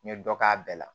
N ye dɔ k'a bɛɛ la